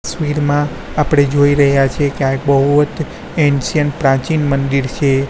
માં આપડે જોઈ રહ્યા છીએ કે આ એક બૌદ્ધ એનસીએન્ટ પ્રાચીન મંદિર છે.